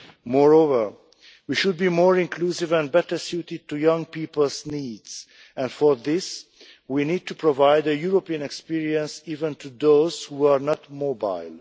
Moreover, we should be more inclusive and better suited to young people's needs, and for this we need to provide a European experience even to those who are not mobile.